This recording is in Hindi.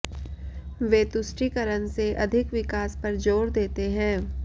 वे तुष्टीकरण से अधिक विकास पर ज़ोर देते हैं